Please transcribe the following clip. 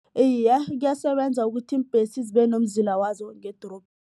Iye, kuyasebenza ukuthi iimbhesi zibe nomzila wazo